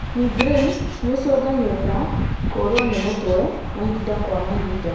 Migraine nĩicungagĩrira kũrĩo nĩ mũtwe mahinda kwa mahinda.